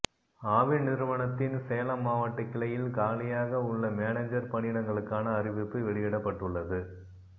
ஆவின் நிறுவனத்தின் சேலம் மாவட்ட கிளையில் காலியாக உள்ள மேனேஜர் பணியிடங்களுக்கான அறிவிப்பு வெளியிடப்பட்டுள்ளது